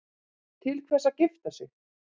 Til hvers að gifta sig?